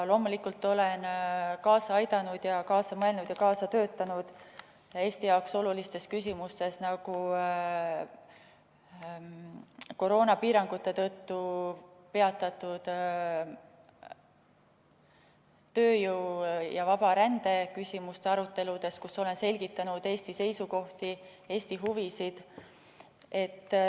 Loomulikult olen kaasa aidanud, kaasa mõelnud ja kaasa töötanud Eesti jaoks olulistes küsimustes, nagu koroonapiirangute tõttu peatatud tööjõu vaba rände küsimuste arutelud, kus olen selgitanud Eesti seisukohti ja meie huvisid.